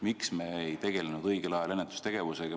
Miks me õigel ajal ennetustegevusega ei tegelenud?